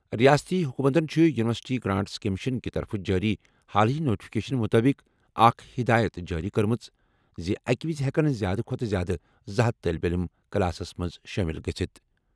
رِیٲستی حکوٗمتَن چھِ یوٗنیورسٹی گرانٹس کمیشن کہِ طرفہٕ جٲری حالٕے نوٹیفکیشن مُطٲبِق اکھ ہِدایت جٲری کٔرمٕژ زِ اَکہِ وِزِ ہٮ۪کَن زِیٛادٕ کھۄتہٕ زِیٛادٕ 200 طالبہِ علِم کلاسَس منٛز شٲمِل گژھِتھ۔